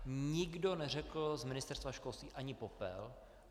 Nikdo neřekl z Ministerstva školství ani popel.